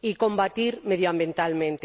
y combatir medioambientalmente.